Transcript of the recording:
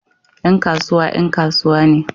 Yan kasuwa 'yan kasuwa ne